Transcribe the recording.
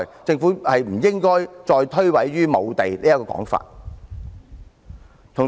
政府實不應再以無地這說法來推諉責任。